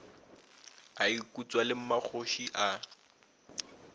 a ikutswa le mmakgoši a